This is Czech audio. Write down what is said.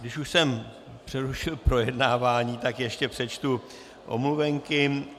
Když už jsem přerušil projednávání, tak ještě přečtu omluvenky.